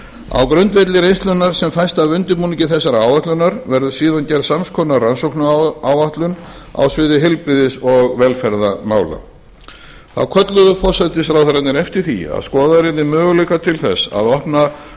á grundvelli reynslunnar sem fæst af undirbúningi þessarar áætlunar verður síðan gerð sams konar rannsóknaráætlun á sviði heilbrigðis og velferðarmála þá kölluðu forsætisráðherrarnir eftir því að skoðaðir yrðu möguleikar þess að opna